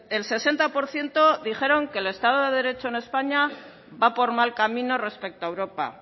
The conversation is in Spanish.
el sesenta por ciento dijeron que el estado de derecho en españa va por mal camino respecto a europa